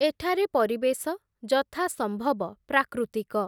ଏଠାରେ ପରିବେଶ ଯଥାସମ୍ଭବ ପ୍ରାକୃତିକ ।